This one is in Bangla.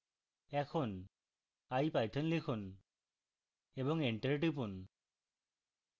এখন ipython3 লিখুন এবং enter টিপুন